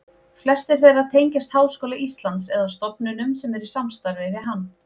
Flestir þeirra tengjast Háskóla Íslands eða stofnunum sem eru í samstarfi við hann.